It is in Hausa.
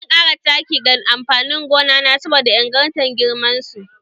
Zan ƙara taki ga amfanin gona na saboda ingartan girman su